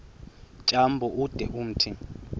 tyambo ude umthi